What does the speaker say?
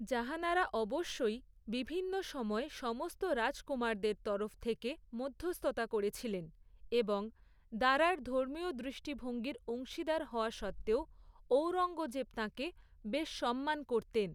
জাহানারা অবশ্যই, বিভিন্ন সময়ে সমস্ত রাজকুমারদের তরফ থেকে মধ্যস্থতা করেছিলেন, এবং দারার ধর্মীয় দৃষ্টিভঙ্গির অংশীদার হওয়া সত্ত্বেও, ঔরঙ্গজেব তাঁকে বেশ সম্মান করতেন।